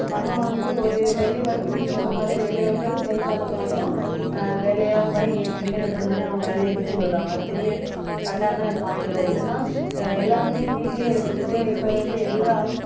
நம்ம வந்து ஒரு வேலை வாய்ப்பு நீங்க சொன்ன மாதிரி வேலை வாய்ப்பு செய்தித்தாள்ல பார்த்துதான் அஹ் வேலை எல்லாம் போயி interview attend பண்ணி அவங்க வேலையைப் பெற்றுக் கொள்றாங்க அது தெரிய correct ஆன point தான் என்னன்னா அஹ் எல்லாருமே வீட்டுலயே இருந்துகிட்டு இப்ப இருந்து எல்லா